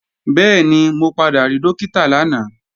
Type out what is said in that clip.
Bẹ́ẹ̀ni, mo padà rí Dókítà lánàá